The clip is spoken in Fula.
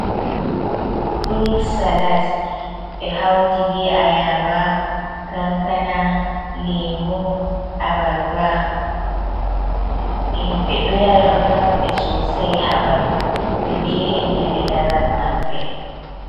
Furut salat ɓe hauti be ayaba, kankana, lemu, abarba. Himɓe ɗo yara. Ɗo nafa ɓe sosai ha ɓandu. Ɗo gerina ɓe laral maɓɓe.